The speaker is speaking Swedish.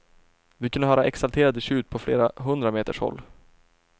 Vi kunde höra exalterade tjut på flera hundra meters håll.